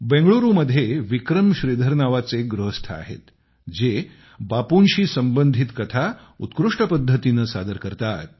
बंगळुरू मध्ये विक्रम श्रीधर नावाचे एक गृहस्थ आहेत जे बापूंशी संबंधित कथा उत्कृष्ट पद्धतीने सादर करतात